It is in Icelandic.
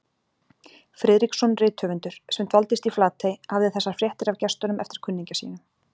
Friðriksson rithöfundur, sem dvaldist í Flatey, hafði þessar fréttir af gestunum eftir kunningja sínum